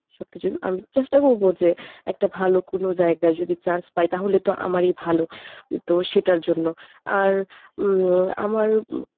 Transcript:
সবকিছুর আমি চেষ্টা করবো যে একটা ভালো কোন জায়গায় যদি chance পাই তাহলে তো আমারই ভালো তো সেটার জন্য আর উম আমার